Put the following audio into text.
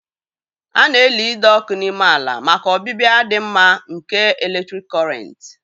A na-eli ide ọkụ n'ime ala maka ọbịbịa dị mma nke eletrik Kọrịnt